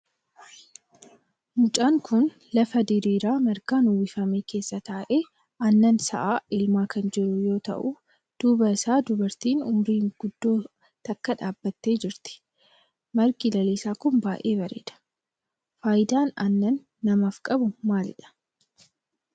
Mucaan kun lafa diriiraa margaan uwwifame keessa taa'ee aannan sa'a elmaa kan jiru yoo ta'u duuba isaa dubartiin umriin guddoo takka dhaabbattee jirti. margi lalisaan kun baayyee bareeda. faayidaan aannan namaaf qabu maalidha?